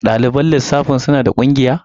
Ɗaliban lissafi suna da ƙungiya?